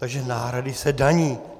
Takže náhrady se daní.